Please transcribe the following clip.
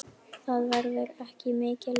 Það verður ekki mikið lægra.